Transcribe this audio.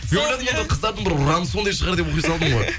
мен ойладым енді қыздардың бір ұраны сондай шығар деп